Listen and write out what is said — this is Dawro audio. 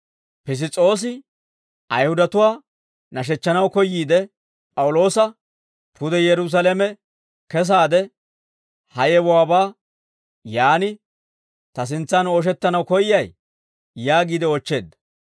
Piss's'oosi Ayihudatuwaa nashechchanaw koyyiide P'awuloosa, «Pude Yerusaalame kesaade, ha yewuwaabaa yaan ta sintsan ooshettanaw koyyay?» yaagiide oochcheedda.